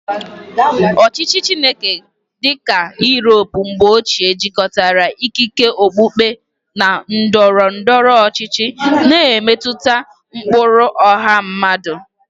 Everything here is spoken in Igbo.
Ọchịchị Chineke dị ka Europe mgbe ochie jikọtara ikike okpukpe na ndọrọ ndọrọ ọchịchị, na-emetụta ụkpụrụ ọha mmadụ.